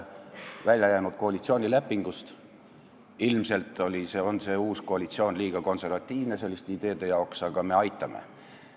Ilmselt on uus koalitsioon selliste ideede jaoks liiga konservatiivne, aga me aitame.